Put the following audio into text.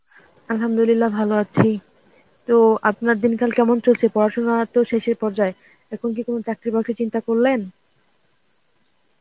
Arbi ভালো আছি. তো আপনার দিনকাল কেমন চলছে? পড়াশুনো তো শেষের পর্যায়ে এখন কি কোনো চাকরি বাকরির চিন্তা করলেন?